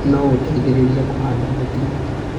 No ũteithĩrĩrie kũhanda mĩtĩ.